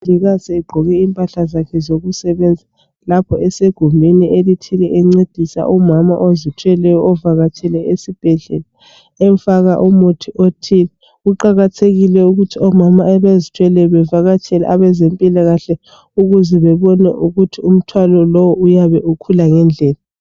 Esegqoke impahla zakhe zokusebenza lapho esegumeni elithile encedisa umama othile avakatshele esibhedlela emfaka umuthi othile kuqakathekile ukuthi omama abazithweleyo bavakatsele abezempilakahle ukuze bebone ukuthi umthwalo lo uyabe ukhula ngendlela.